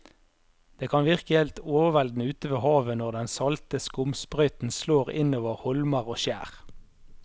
Det kan virke helt overveldende ute ved havet når den salte skumsprøyten slår innover holmer og skjær.